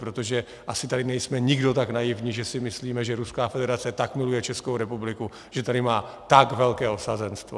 Protože asi tady nejsme nikdo tak naivní, že si myslíme, že Ruská federace tak miluje Českou republiku, že tady má tak velké osazenstvo.